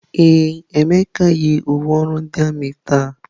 Ee, Emeka yi uwe ọrụ ndị armiị ya taa.